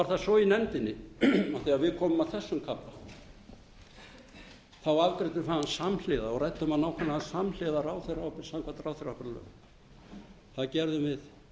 það svo í nefndinni af því að við komum að þessum kafla þá afgreiddum við hann samhliða og ræddum hann nákvæmlega samhliða ráðherraábyrgð samkvæmt ráðherraábyrgðarlögum það gerðum við